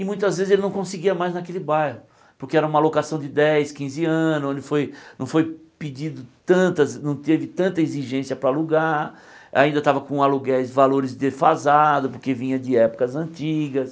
E muitas vezes ele não conseguia mais naquele bairro, porque era uma alocação de dez, quinze anos, onde foi não foi pedido tantas não teve tanta exigência para alugar, ainda estava com aluguéis valores defasados, porque vinha de épocas antigas.